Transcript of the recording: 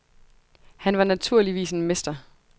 Han var naturligvis en mester.